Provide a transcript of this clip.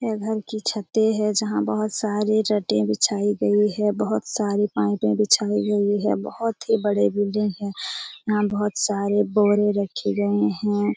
यह घर की छतें है जहां बोहोत सारी चटे बिछाई गई है बोहोत सारी पाइपें बिछाई गयी है। बोहोत ही बड़े बिल्डिंग है। यहाँ बोहोत सारे बोरे रखे गए है।